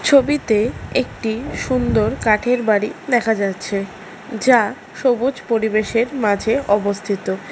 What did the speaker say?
ছবিতে একটি সুন্দর কাঠের বাড়ি দেখা যাচ্ছে যা সবুজ পরিবেশের মাঝে অবস্থিত।